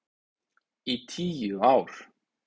Í tíu ár.